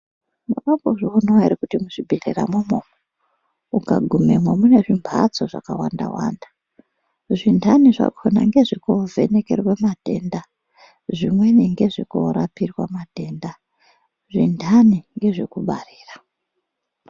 Makambozvionavo ere kuti muzvibhedhlera imwomwo ukagumemwo mune zvimhasto zvakawanda-wanda. Zvintani zvakona ngezvekovhenekerwe matenda, zvimweni ngezvekorapirwa matenda, zvintani ngezvekubarira.